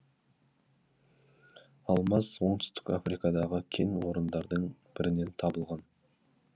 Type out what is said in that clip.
алмаз оңтүстік африкадағы кен орындардың бірінен табылған